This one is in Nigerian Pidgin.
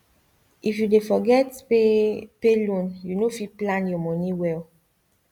if you dey forget pay pay loan you no fit plan your money well